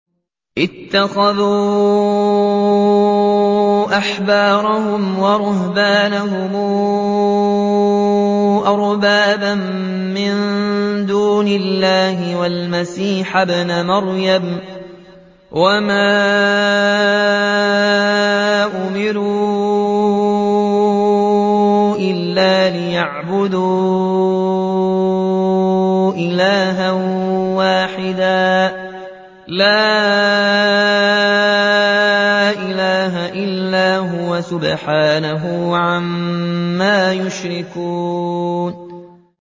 اتَّخَذُوا أَحْبَارَهُمْ وَرُهْبَانَهُمْ أَرْبَابًا مِّن دُونِ اللَّهِ وَالْمَسِيحَ ابْنَ مَرْيَمَ وَمَا أُمِرُوا إِلَّا لِيَعْبُدُوا إِلَٰهًا وَاحِدًا ۖ لَّا إِلَٰهَ إِلَّا هُوَ ۚ سُبْحَانَهُ عَمَّا يُشْرِكُونَ